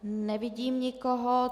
Nevidím nikoho.